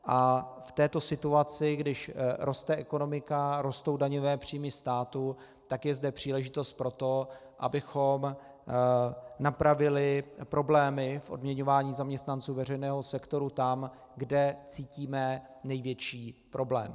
A v této situaci, když roste ekonomika, rostou daňové příjmy státu, tak je zde příležitost pro to, abychom napravili problémy v odměňování zaměstnanců veřejného sektoru tam, kde cítíme největší problém.